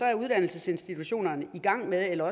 er uddannelsesinstitutionerne i gang med eller